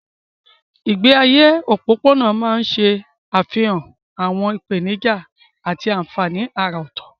Ìgbé ayé òpópónà máa ń ṣe àfihàn àwọn ìpèníjà àti àfààní àrà ọ̀tọ̀.